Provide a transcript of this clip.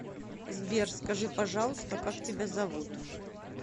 сбер скажи пожалуйста как тебя зовут